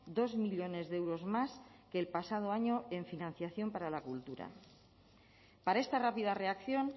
dos millónes de euros más que el pasado año en financiación para la cultura para esta rápida reacción